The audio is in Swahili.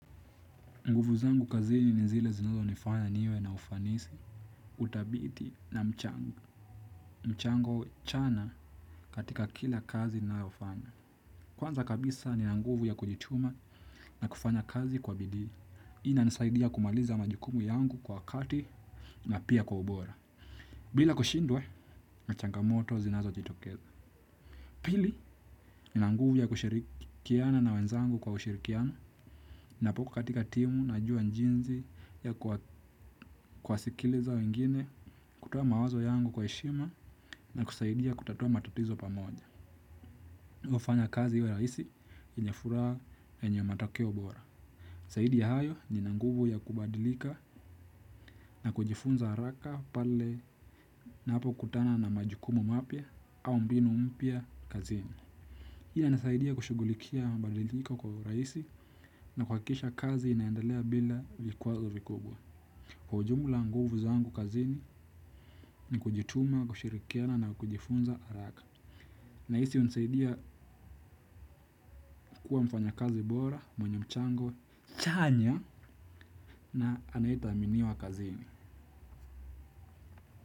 Nguvu zangu kazini ni zile zinazo nifanya niwe na ufanisi. Utabiti na mchango. Mchango chana katika kila kazi nayo fanya. Kwanza kabisa ni na nguvu ya kujituma na kufanya kazi kwa bidii. Ina nisaidia kumaliza majukumu yangu kwa wakati na pia kwa ubora. Bila kushindwa, na changamoto zinazojitokeza. Pili, ni na nguvu ya kushirikiana na wenzangu kwa ushirikiano. Napo katika timu najua jinsi ya kuwasikiliza wengine kutoa mawazo yangu kwa heshima na kusaidia kutatua matatizo pamoja hufanya kazi iwe rahisi yenye furaa na yenye matokeo bora zaidi ya hayo ni na nguvu ya kubadilika na kujifunza haraka pale na napokutana na majukumu mapya au mbinu mpya kazini. Ina nisaidia kushughulikia mabadiliko kwa urahisi na kuhakikisha kazi inaendelea bila vikuwazo vikubwa. Kwa ujumla nguvu zangu kazini ni kujituma, kushirikiana na kujifunza haraka. Na hisi hunisaidia kuwa mfanyakazi bora, mwenye mchango, chanya na anaye thaminiwa kazini.